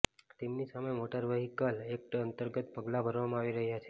તેમની સામે motor vehicle act અંતર્ગત પગલા ભરવામાં આવી રહ્યા છે